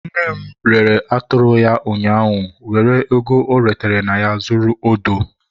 Nne rere atụrụ ya ụnyaahụ were ego ọ retere na ya zụrụ odo.